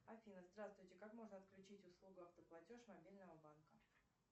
афина здравствуйте как можно отключить услугу автоплатеж мобильного банка